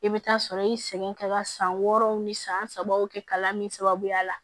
I bɛ taa sɔrɔ i segin ka san wɔɔrɔw ni san sabaw kɛ kalan min sababuya la